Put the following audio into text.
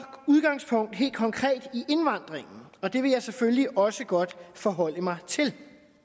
helt konkret i indvandringen og det vil jeg selvfølgelig også godt forholde mig til